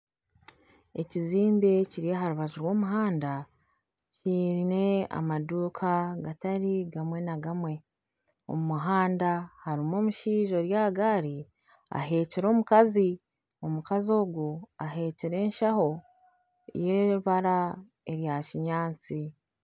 Ekizimbe kiri aha rubaju rw'omuhanda kyine amaduuka gatari gamwe na gamwe omu muhanda harimu omushaija ori aha gaari aheekire omukazi, omukazi ogu aheekire eshaho y'eibaara erya kinyaatsi.